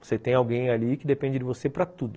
Você tem alguém ali que depende de você para tudo.